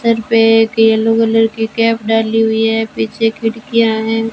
Sir पे एक yellow colour की कैप डाली हुई है पीछे खिड़किया हैं।